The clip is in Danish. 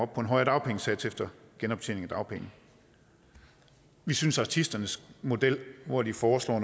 på en højere dagpengesats efter genoptjening af dagpenge vi synes artisternes model hvor de foreslår